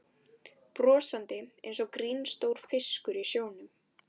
Brosandi einsog ginstór fiskur í sjónum.